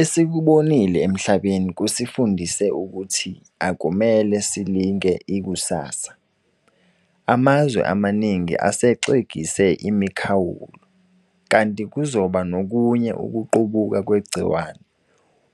Esikubone emhlabeni kusifundise ukuthi akumele silinge ikusasa. Amazwe amaningi asexegise imikhawulo, kanti kuzoba nokunye ukuqubuka kwegciwane,